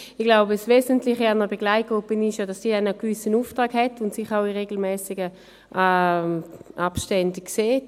Ich glaube, das Wesentliche an einer Begleitgruppe ist, dass sie einen gewissen Auftrag hat und sich auch in regelmässigen Abständen sieht.